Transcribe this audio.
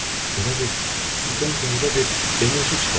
Elə bil sizdən qəribə bir enerji çıxır.